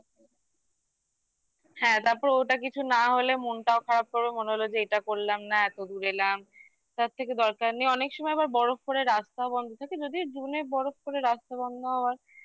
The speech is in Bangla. হ্যাঁ তারপর ওটা কিছু না হলে মনটাও খারাপ করবে মনে হল যে এটা করলাম না এতো দূর এলাম তার থেকে দরকার নেই অনেক সময় আবার বরফ পরে রাস্তাও বন্ধ থাকে যদিও zone এ বরফ করে রাস্তা বন্ধ হওয়ার